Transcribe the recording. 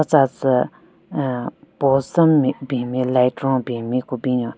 tsa tsü hmm post den bin nme light ron bin nme ku binyon.